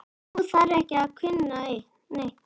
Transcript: Hún þarf ekki að kunna neitt.